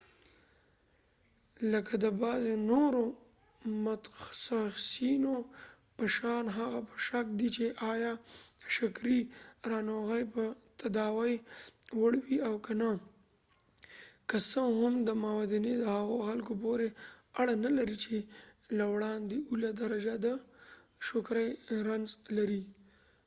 لکه د بعضې نورو متخصیصینو په شان هغه په شک دې چې آیا د شکرې ناروغي به د تداوۍ وړ وي او که نه که څه هم دا موندنې د هغو خلکو پورې اړه نلري چې له وړاندې اوله درجه د شکرې رنځ لري